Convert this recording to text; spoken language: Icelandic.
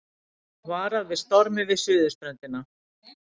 Varað við stormi við suðurströndina